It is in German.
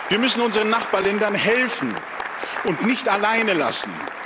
Wir müssen unseren Nachbarländern helfen und dürfen sie nicht alleine lassen.